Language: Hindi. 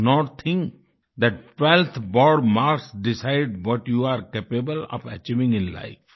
do not think that 12th board marks decide what you are capable of achieving in life